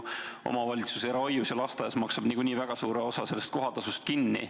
Omavalitsus maksab eralastehoius ja -lasteaias niikuinii väga suure osa sellest kohatasust kinni.